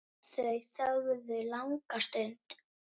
Þau þögðu langa stund.